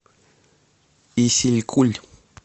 исилькуль